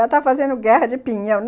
Ela tá fazendo guerra de pinhão.